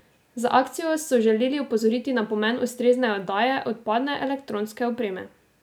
Z akcijo so želeli opozoriti na pomen ustrezne oddaje odpadne elektronske opreme.